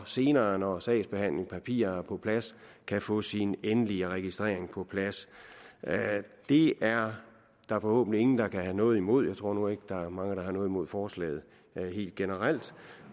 senere når sagsbehandlingspapirerne er på plads kan få sin endelige registrering på plads det er der forhåbentlig ingen der kan have noget imod jeg tror nu ikke der er mange der har noget imod forslaget helt generelt